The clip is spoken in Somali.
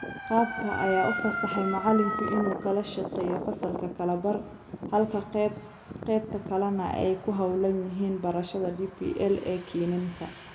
Qaabka ayaa u fasaxay macalinka inuu kala shaqeeyo fasalka kala bar halka qeybta kalena ay ku hawlan yihiin barashada DPL ee kiniinka.